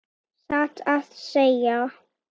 Satt að segja.